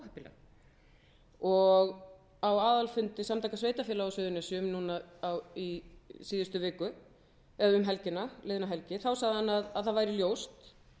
afar óheppileg á aðalfundi samtaka sveitarfélaga á suðurnesjum núna í síðustu viku eða um liðna helgi þá sagði hann að það væri ljóst